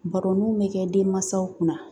Baroninw bɛ kɛ denmansaw kunna